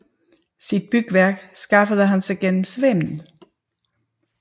Sit bygværk skaffede han sig gennem svindel